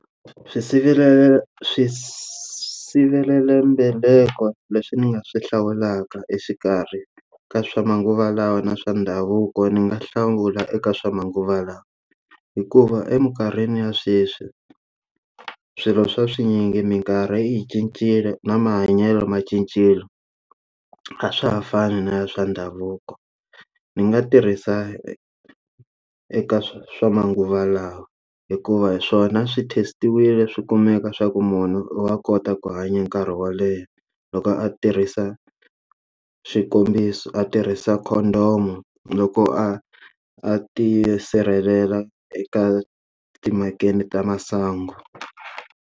Swisirhelelo swisivelambeleko leswi ni nga swi hlawulaka exikarhi ka swa manguva lawa na swa ndhavuko ni nga hlawula eka swa manguva lawa hikuva eminkarhini ya sweswi swilo swa swinyingi mikarhi yi cincile na mahanyelo ma cincile a swa ha fani na swa ndhavuko ni nga tirhisa e eka swa manguva lawa hikuva hi swona swi test-iwile swi kumeka swa ku munhu wa kota ku hanya nkarhi wo leha loko a tirhisa swikombiso a tirhisa condom loko a a ti sirhelela eka timakeni ta masangu.